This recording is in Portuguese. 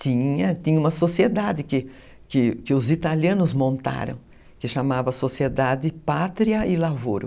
Tinha, tinha uma sociedade que que que os italianos montaram, que chamava Sociedade Pátria e Lavoro.